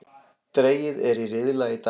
Dregið er í riðla í dag